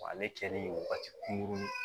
Ale kɛlen wagati